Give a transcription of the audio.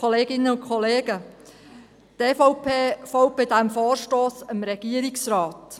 Die EVP folgt bei diesem Vorstoss dem Regierungsrat.